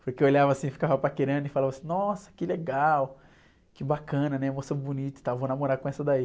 Porque eu olhava assim, ficava paquerando e falava assim, nossa, que legal, que bacana, né, moça bonita e tal, vou namorar com essa daí.